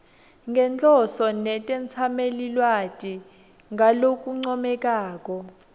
nenhloso netetsamelilwati ngalokuncomekako